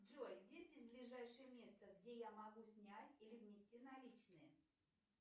джой где здесь ближайшее место где я могу снять или внести наличные